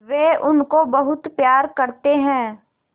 वे उनको बहुत प्यार करते हैं